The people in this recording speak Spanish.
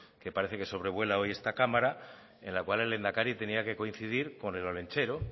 que parece que sobrevuela hoy esta cámara en la cual el lehendakari tenía que coincidir con el olentzero